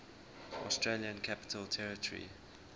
australian capital territory